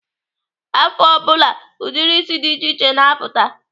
Afọ ọ bụla, ụdịrị isi dị iche iche na-apụta.